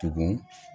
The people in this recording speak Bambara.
Tugun